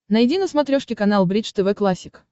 найди на смотрешке канал бридж тв классик